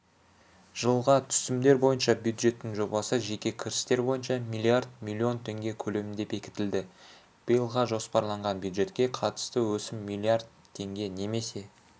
жылға түсімдер бойынша бюджеттің жобасы жеке кірістер бойынша миллиард миллион теңге көлемінде бекітілді биылға жоспарланған бюджетке қатысты өсім миллиард теңге немесе